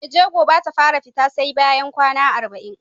Mai jego Bata fara fita SE bayan kwAna arba'in